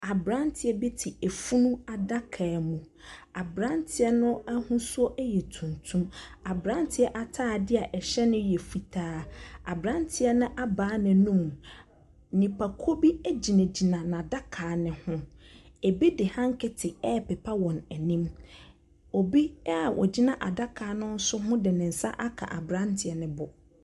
Aberanteɛ bi te funu adaka mu. Aberanteɛ no ahosuo yɛ tuntum. Aberanteɛ atadeɛ a ɛhyɛ no yɛ fitaa. Aberanteɛ no abaa n'anum. Nipakuo bi gyinagyina n'adaka no ho. Ɛbi de hanketi repepa wɔn anim. Obi a ɔgyina ataka no nso ho de ne nsa aka aberanteɛ no bo.